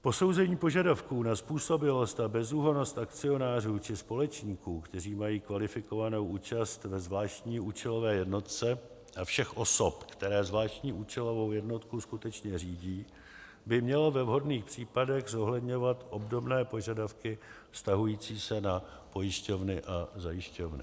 Posouzení požadavků na způsobilost a bezúhonnost akcionářů či společníků, kteří mají kvalifikovanou účast ve zvláštní účelové jednotce, a všech osob, které zvláštní účelovou jednotku skutečně řídí, by mělo ve vhodných případech zohledňovat obdobné požadavky vztahující se na pojišťovny a zajišťovny.